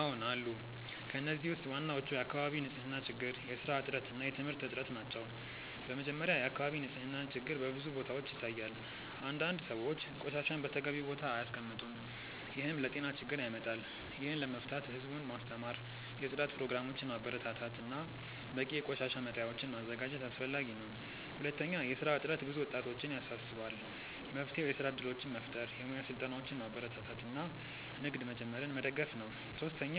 አዎን አሉ። ከእነዚህ ውስጥ ዋናዎቹ የአካባቢ ንፅህና ችግር፣ የስራ እጥረት እና የትምህርት እጥረት ናቸው። በመጀመሪያ፣ የአካባቢ ንፅህና ችግር በብዙ ቦታዎች ይታያል። አንዳንድ ሰዎች ቆሻሻን በተገቢው ቦታ አያስቀምጡም፣ ይህም ለጤና ችግር ያመጣል። ይህን ለመፍታት ህዝቡን ማስተማር፣ የጽዳት ፕሮግራሞችን ማበረታታት እና በቂ የቆሻሻ መጣያዎችን ማዘጋጀት አስፈላጊ ነው። ሁለተኛ፣ የስራ እጥረት ብዙ ወጣቶችን ያሳስባል። መፍትሄው የስራ እድሎችን መፍጠር፣ የሙያ ስልጠናዎችን ማበረታታት እና ንግድ መጀመርን መደገፍ ነው። ሶስተኛ፣